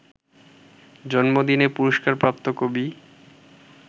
জন্মদিনে পুরস্কারপ্রাপ্ত কবি